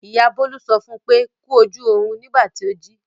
Ìyá Bólú sọ fún pé "kú ojú ọrùn " nígbà tí ó jí.